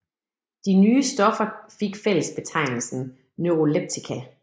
De nye stoffer fik fællesbetegnelsen neuroleptika